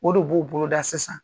O de b'o boloda sisan